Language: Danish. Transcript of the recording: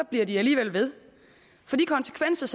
bliver det alligevel ved for de konsekvenser